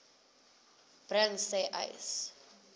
bring sê uys